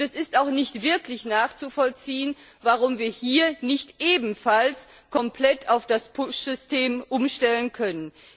Es ist auch nicht wirklich nachzuvollziehen, warum wir hier nicht ebenfalls komplett auf das Push System umstellen können.